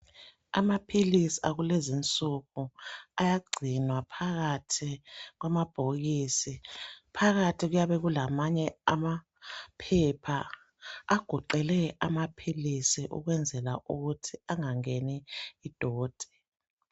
Amaphilisi akulezi insuku ayagcinwa phakathi kwamabhokisi phakathi kuyabe kulamanye amaphepha agoqele amaphilisi ukwenzela ukuthi angangeni doti.